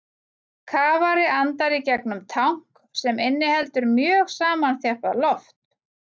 Kafari andar í gegnum tank sem inniheldur mjög samanþjappað loft.